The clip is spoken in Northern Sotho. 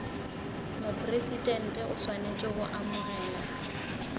mopresidente o swanetše go amogela